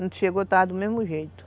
Não chegou, estava do mesmo jeito.